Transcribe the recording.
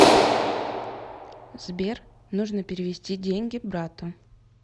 сбер нужно перевести деньги брату